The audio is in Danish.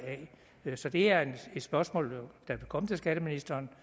af så det er et spørgsmål der vil komme til skatteministeren